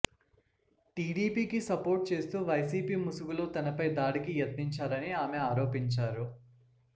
టీడీపీకి సోపర్ట్ చేస్తూ వైసీపీ ముసుగులో తనపై దాడికి యత్నించారని ఆమె ఆరోపించారు